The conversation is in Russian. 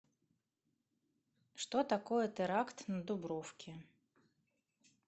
что такое теракт на дубровке